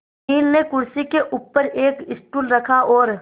अनिल ने कुर्सी के ऊपर एक स्टूल रखा और